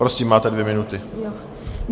Prosím, máte dvě minuty.